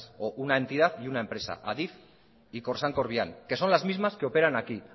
o una entidad y una empresa adif y corsán corviam que son las mismas que operan aquí